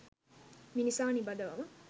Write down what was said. මිනිසා නිබඳවම